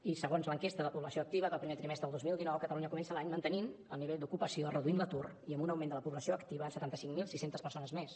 i segons l’enquesta de població activa del primer trimestre del dos mil dinou catalunya comença l’any mantenint el nivell d’ocupació reduint l’atur i amb un augment de la població activa de setanta cinc mil sis cents persones més